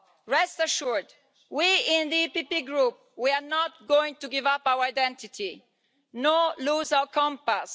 Rest assured, we in the PPE Group are not going to give up our identity, nor lose our compass.